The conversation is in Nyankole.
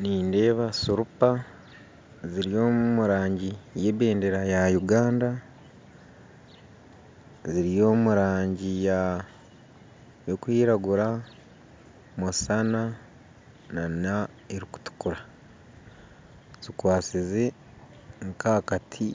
Nindeeba sirupa ziri omu rangi ye ebendera ya Uganda ziri omu rangi erikwiragura, musaana nana erikutuukura zikwasize nka akati